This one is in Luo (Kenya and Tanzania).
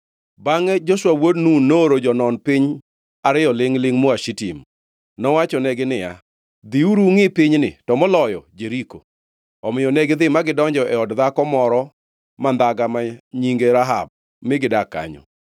Bangʼe Joshua wuod Nun nooro jonon piny ariyo lingʼ-lingʼ moa Shitim. Nowachonegi niya, “Dhiuru, ungʼi pinyni, to moloyo Jeriko.” Omiyo negidhi ma gidonjo e od dhako moro mandhaga ma nyinge Rahab, mi gidak kanyo.